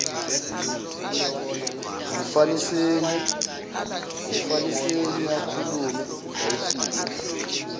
ngumfaniseni akhulume ayifinqe